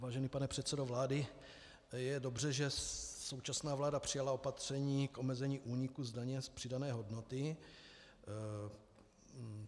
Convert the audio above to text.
Vážený pane předsedo vlády, je dobře, že současná vláda přijala opatření k omezení úniků z daně z přidané hodnoty.